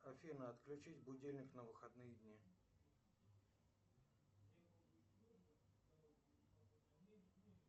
афина отключить будильник на выходные дни